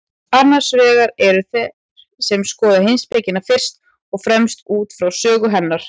Annars vegar eru þeir sem skoða heimspekina fyrst og fremst út frá sögu hennar.